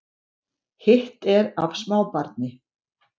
Hitt er af smábarni